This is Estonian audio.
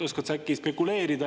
Oskad sa äkki spekuleerida?